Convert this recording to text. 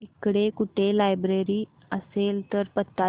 इकडे कुठे लायब्रेरी असेल तर पत्ता दे